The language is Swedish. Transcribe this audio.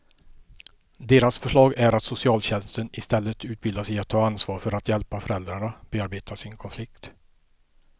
Deras förslag är att socialtjänsten istället utbildas i att ta ansvar för att hjälpa föräldrarna bearbeta sin konflikt.